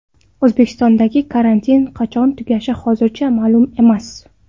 O‘zbekistondagi karantin qachon tugashi hozircha ma’lum emas.